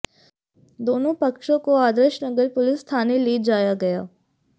दोनों पक्षों को आदर्श नगर पुलिस थाने ले जाया गया